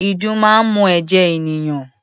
Ìdun máa ń mu ẹ̀jẹ̀ ènìyàn.